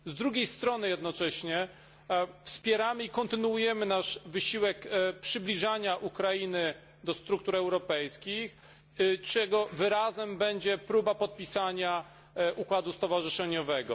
Z drugiej strony jednocześnie wspieramy i kontynuujemy nasz wysiłek przybliżania Ukrainy do struktur europejskich, czego wyrazem będzie próba podpisania układu stowarzyszeniowego.